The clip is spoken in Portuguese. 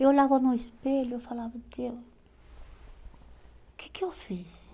Eu olhava no espelho e falava, Deus, o que que eu fiz?